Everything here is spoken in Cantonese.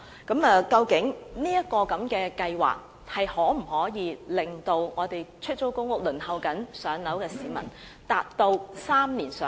究竟這計劃可否令正在輪候出租公屋的市民能在3年內"上樓"？